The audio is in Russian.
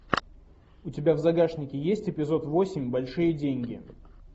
у тебя в загашнике есть эпизод восемь большие деньги